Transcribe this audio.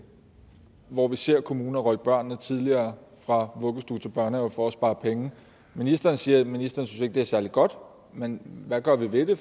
hvor vi ser kommuner rykke børn tidligere fra vuggestue til børnehave for at spare penge ministeren siger at ministeren ikke synes det er særlig godt men hvad gør vi ved det